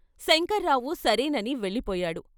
శంకర్రావు సరేనని వెళ్ళిపోయాడు.